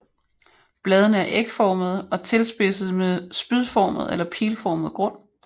Bladene er ægformede og tilspidsede med spydformet eller pilformet grund